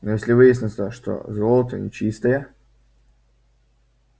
но если выяснится что золото нечистое